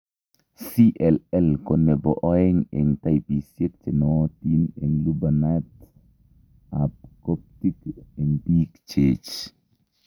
CLL ko nebo oeng' eng' taipisiek chenaiotin eng' lubaniat ab korptik eng' biik cheech